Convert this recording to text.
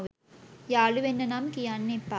යාළුවෙන්න නම් කියන්න එපා.